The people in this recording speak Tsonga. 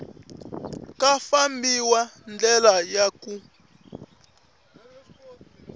ku fambisa ndlela ya ku